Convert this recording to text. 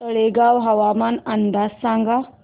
तळेगाव हवामान अंदाज सांगा